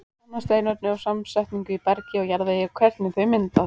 Kanna steinefni og samsetningu í bergi og jarðvegi og hvernig þeir mynduðust.